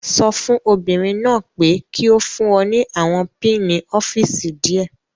Sọ fún obìnrin náà pé kí ó fún ọ ní àwọn pinni ọ́fíìsì díẹ̀.